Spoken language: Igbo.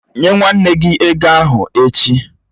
Nye nwanne nna gị ego ahụ echi!